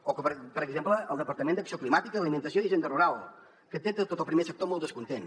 o per exemple el departament d’acció climàtica alimentació i hisenda rural que té tot el primer sector molt descontent